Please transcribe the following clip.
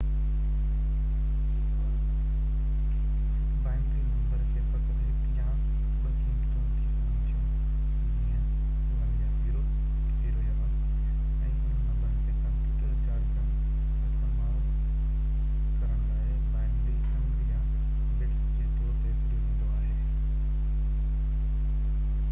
هڪ binary number کي فقط هڪ يا ٻه قيمتون ٿي سگهن ٿيون جيئن 0 يا 1 ۽ انهن نمبرن کي ڪمپيوٽر جارگن استعمال ڪرڻ لاءِ بائنري انگ يا بٽس جي طور تي سڏيو ويندو آهي